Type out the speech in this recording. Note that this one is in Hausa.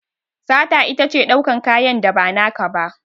Sata itace daukan kanyan da ba naka ba